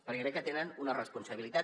perquè crec que tenen una responsabilitat